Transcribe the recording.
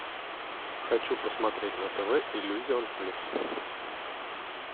хочу посмотреть на тв иллюзион плюс